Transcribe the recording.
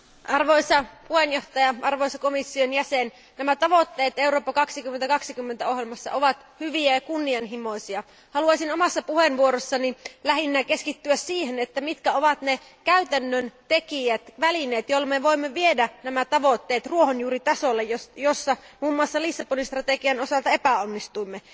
Arvoisa puhemies, arvoisa komission jäsen, Eurooppa 2020 ohjelman tavoitteet ovat hyviä ja kunnianhimoisia. Haluaisin omassa puheenvuorossani lähinnä keskittyä siihen, mitkä ovat ne käytännön tekijät, välineet, joilla me voimme viedä nämä tavoitteet ruohonjuuritasolle, jossa muun muassa Lissabonin strategian osalta epäonnistuimme.